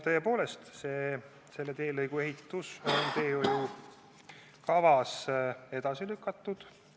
Tõepoolest, selle teelõigu ehitus on teehoiukavas edasi lükatud.